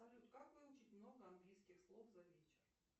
салют как выучить много английских слов за вечер